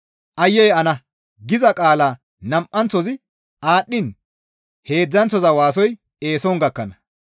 Aayye ana! giza qaala nam7anththozi aadhdhiin heedzdzanththoza waasoy eeson gakkana.